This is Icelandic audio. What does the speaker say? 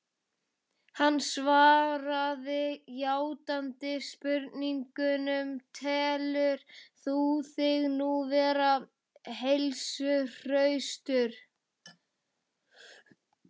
Hann svaraði játandi spurningunni: Telur þú þig nú vera heilsuhraustan?